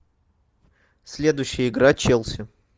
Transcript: следующая игра челси